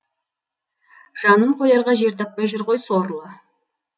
жанын қоярға жер таппай жүр ғой сорлы